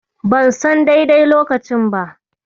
Ban son daidai lokacin ba.